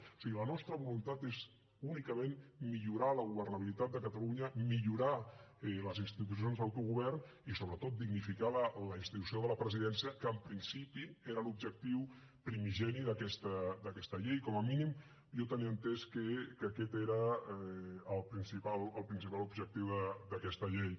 o sigui la nostra voluntat és únicament millorar la governabilitat de catalunya millorar les institucions d’autogovern i sobretot dignificar la institució de la presidència que en principi era l’objectiu primigeni d’aquesta llei com a mínim jo tenia entès que aquest era el principal objectiu d’aquesta llei